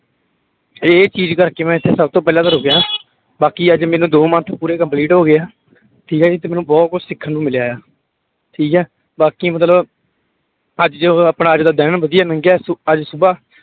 ਇਹ ਚੀਜ਼ ਕਰਕੇ ਮੈਂ ਇੱਥੇ ਸਭ ਤੋਂ ਪਹਿਲਾਂ ਤਾਂ ਰੁਕਿਆ ਬਾਕੀ ਅੱਜ ਮੈਨੂੰ ਦੋ month ਪੂਰੇ complete ਹੋ ਗਏ ਆ, ਠੀਕ ਹੈ ਜੀ ਤੇ ਮੈਨੂੰ ਬਹੁਤ ਕੁੱਝ ਸਿੱਖਣ ਨੂੰ ਮਿਲਿਆ ਆ, ਠੀਕ ਹੈ ਬਾਕੀ ਮਤਲਬ ਅੱਜ ਜਿਵੇਂ ਆਪਣਾ ਅੱਜ ਦਾ ਦਿਨ ਵਧੀਆ ਲੰਘਿਆ ਸੋ ਅੱਜ ਸੁਬ੍ਹਾ